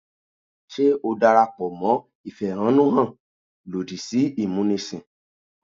Ṣé o darapọ̀ mọ́ ìfẹ̀hánnúhàn lòdì sí ìmúnisìn?